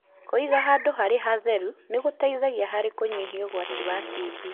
Kwĩga handũ harĩ hatheru nĩgũteithagia harĩ kũnyihia ũgwati wa TB.